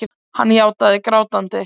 Hann játaði grátandi.